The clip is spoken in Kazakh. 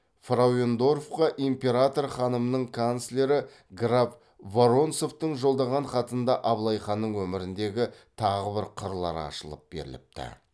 фрауендорфқа император ханымның канцлері граф воронцовтың жолдаған хатында абылай ханның өміріндегі тағы бір қырлар ашылып беріліпті